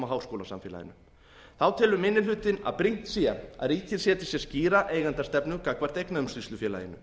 háskólasamfélaginu þá telur minni hlutinn að brýnt sé að ríkið setji sér skýra eigendastefnu gagnvart eignaumsýslufélaginu